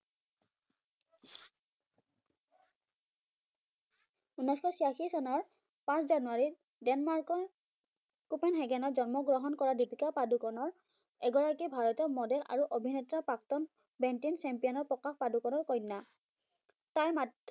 উনৈসশ ছিয়াশি চনৰ পাঁচ জানুৱাৰীত ডেনমাৰ্কৰ কোপেনহেগেনত জন্মগ্ৰহণ কৰা দীপিকা পাদুকনৰ এগৰাকী ভাৰতীয় মডেল আৰু অভিনেতা, প্ৰাক্তন বেন্টিন champion প্ৰকাশ পাডুকনৰ কন্যা। তাৰমা